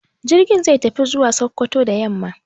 Jirgin zai tafi zuwa Sokoto da yamma.